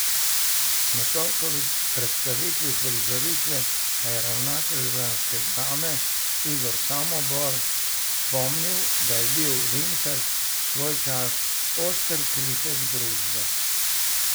Na torkovi predstavitvi uprizoritve pa je ravnatelj ljubljanske Drame Igor Samobor spomnil, da je bil Linhart svoj čas oster kritik družbe.